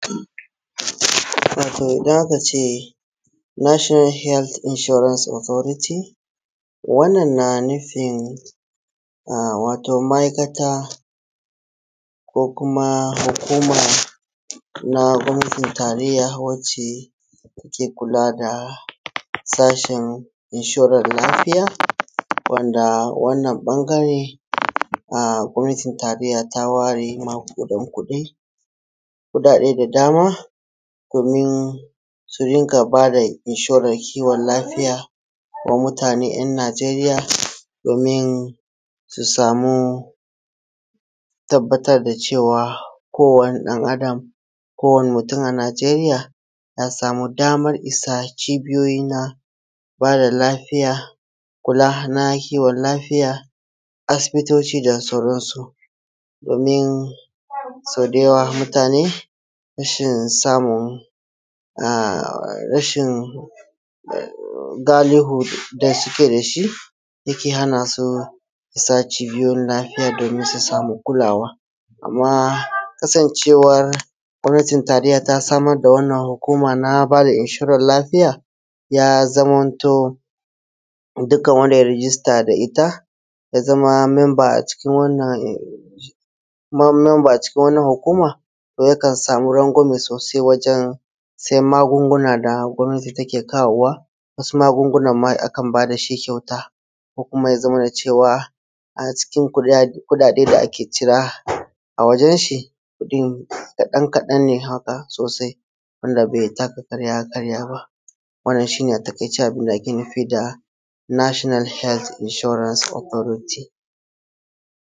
Watoˋ idan aka ce nashinal hels inshurans otoriti wannan na nufin watoˋ ma’aikataˋ ko kumaˋ hukumaˋ na gomnatin tarayyaˋ wacceˋ ke kulaˋ da sashin inshoran lafiyaˋ, wandaˋ wannan bangareˋ gomnatin tarayyaˋ ta wareˋ magudan kuɗiˋ, kuɗaɗeˋ da damaˋ domin su rinƙaˋ badaˋ inshoran kiwon lafiyaˋ da mutaneˋ ‘yan Nijeriyaˋ domin su samuˋ tabbatar da cewaˋ kowaˋ ni dan adam, kowaniˋ mutum a Nijeriyaˋ ya samuˋ damar isa cibiyoyiˋ na badaˋ lafiyaˋ, kulaˋ na kiwon lafiyaˋ asibitociˋ da sauransuˋ. Domin so da yawaˋ mutaneˋ rashin samun, rashin galihuˋ da sukeˋ dashi yakeˋ hanasuˋ isa cibiyoyin nahiyaˋ domin su samuˋ kulawaˋ, amma kasancewaˋ gomnatin tarayyaˋ ta samar da wannan hukumaˋ na badaˋ inshoran lafiyaˋ ya zamantoˋ dukkan wandaˋ ye rijistaˋ da ita ya zamaˋ membaˋ a cikin, membaˋ a cikin, ko kumaˋ ya zamanaˋ cewaˋ a cikin kuɗaɗeˋ da ake ciraˋ a wajenshi kadan kadan ne hakaˋ sosai, wandaˋ bai takaˋ ƙaraˋ ya karyaˋ baˋ. Wannan shi ne a takaiceˋ abindaˋ ake nufiˋ da nashinal helt inshorans otoritiˋ.